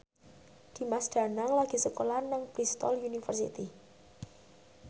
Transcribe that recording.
Dimas Danang lagi sekolah nang Bristol university